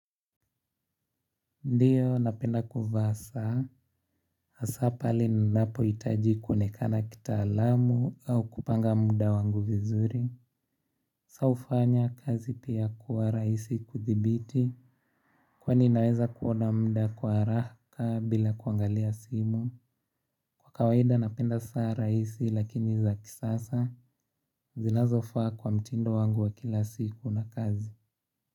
Ndiyo, napenda kuvaa saa, asapale ninapo itaji kuonekana kita alamu au kupanga muda wangu vizuri. Sa ufanya kazi pia kuwa raisi kuthibiti. Kwani naweza kuona mda kwa araaka bila kuangalia simu. Kawaida napenda saa raisi lakini za kisasa zinazofaa kwa mtindo wangu wa kilasiku wa kazi.